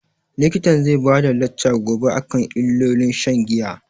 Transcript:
Likitan zai bada lacca gobe akan illolin shan giya